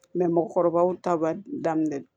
mɔgɔkɔrɔbaw ta b'a daminɛ